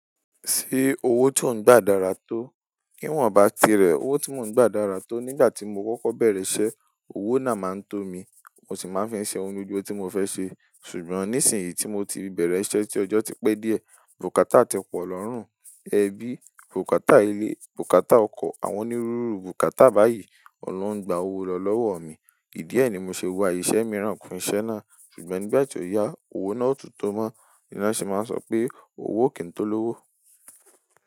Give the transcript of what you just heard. Ṣé owó tò ń gbà dára tó? Niwọ́n bá ti rẹ̀ owó tí mò ń gbà dára tó, nígbà tí mo kọ́kọ́ bẹ̀rẹ̀ iṣẹ́, owó náà máa ń tó mi, mo sì máa ń fi ṣe ohun gbogbo tí mo fẹ́ ṣe. Ṣùgbọ́n nísìnyí tí mo ti bẹ̀rẹ̀ iṣẹ́ tí ọjọ́ ti pé díẹ̀, bukata tí pọ̀ lọ́rùn, ẹbí, bukata ilé, bukata ọkọ̀, àwọn onírúurú bukata báyìí ọ̀un lo ń gba owó lọ lọ́wọ́ mi. Ìdí ẹ ni mo ṣe wa iṣẹ́ mìíràn kún iṣẹ́ náà. Ṣùgbọ́n nígbà tí ó yá, owó náà o tún tó mọ́, ni wọ́n sì máa ń sọ pé owó kì í tó lówó.